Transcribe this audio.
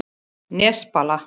Nesbala